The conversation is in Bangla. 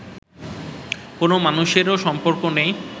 কোনও মানুষেরও সম্পর্কে নেই